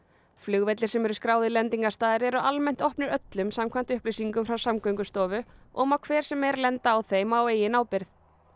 flugvellir sem eru skráðir lendingarstaðir eru almennt opnir öllum samkvæmt upplýsingum frá Samgöngustofu og má hver sem er lenda á þeim á eigin ábyrgð